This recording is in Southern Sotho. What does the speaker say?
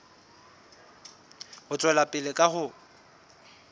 ho tswela pele ka ho